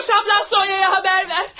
Qoş abla Soyaya xəbər ver.